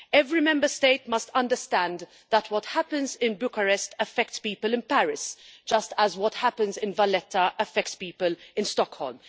Every Member State must understand that what happens in Bucharest affects people in Paris, just as what happens in Valetta affects people in Stockholm.